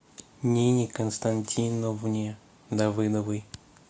нине константиновне давыдовой